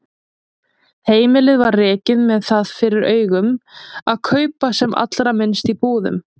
Heimilið var rekið með það fyrir augum að kaupa sem allra minnst í búðum.